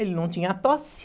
Ele não tinha tosse.